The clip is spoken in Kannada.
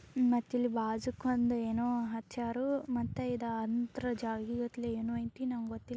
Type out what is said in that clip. ಮತ್ತಿಲ್ಲಿ ಬಾಜು ಒಂದ ಏನೋ ಹಚ್ಚಾರೋ ಮತ್ತೆ ಇದ ಅಂತ್ರ ಜಾಗೀಗಟ್ಲಿ ಏನು ಐತಿ ನಂಗೊತ್ತಿಲ್ಲ.